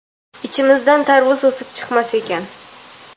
ichimizdan tarvuz o‘sib chiqmas ekan.